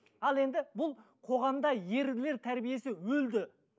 ал енді бұл қоғамда ерлер тәрбиесі өлді